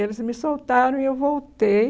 Eles me soltaram e eu voltei.